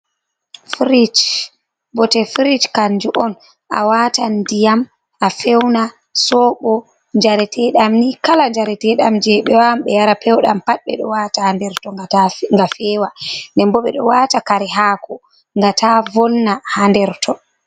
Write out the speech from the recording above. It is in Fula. Firish. Bote firish kanju on a wata ndiyam ba fewna, sobo, jare teɗam ni, kala jare teɗam je bewa wan ɓe yara pew ɗam pat ɓe ɗo wata ha nder ton nga ta ga fewa, den bo ɓe ɗo wata kare haako nga ta vonna ha nder ton.